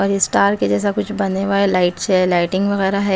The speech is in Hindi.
और ये स्टार के जैसा कुछ बने हुआ है लाइट्स है लाइटिंग वगैरा है।